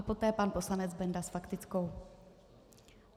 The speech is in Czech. A poté pan poslanec Benda s faktickou.